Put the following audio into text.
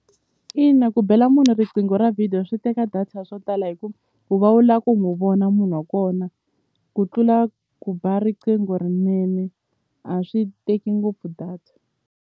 Ina ku bela munhu riqingho ra video swi teka data swo tala hi ku u va u lava ku n'wi vona munhu wa kona ku tlula ku ba riqingho rinene a swi teki ngopfu data.